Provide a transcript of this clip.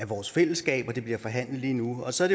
vores fællesskab og det bliver forhandlet lige nu og så er